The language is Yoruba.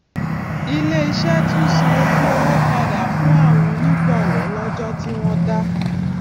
ilé iṣé tún san ojú owó padà fún àwọn onígbòwó lójó tí wón dá